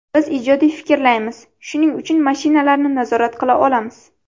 Biz ijodiy fikrlaymiz, shuning uchun mashinalarni nazorat qila olamiz.